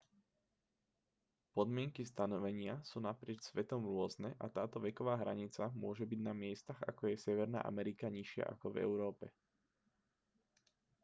podmienky stanovenia sú naprieč svetom rôzne a táto veková hranica môže byť na miestach ako je severná amerika nižšia ako v európe